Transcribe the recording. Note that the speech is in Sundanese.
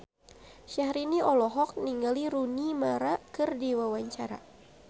Syahrini olohok ningali Rooney Mara keur diwawancara